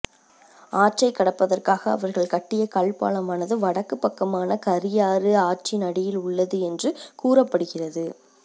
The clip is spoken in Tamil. ஆற்றைக் கடப்பதற்காக அவர்கள் கட்டிய கல் பாலமானது வடக்குப் பக்கமான கரியாறு ஆற்றின் அடியில் உள்ளது என்று கூறப்படுகிறது